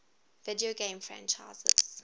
video game franchises